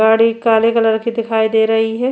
गाड़ी काले कलर की दिखाई दे रही है।